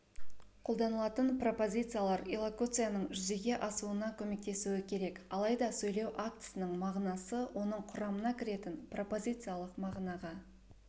қолданылатын пропозициялар иллокуцияның жүзеге асуына көмектесуі керек алайда сөйлеу актісінің мағынасы оның құрамына кіретін пропозициялық мағынанаға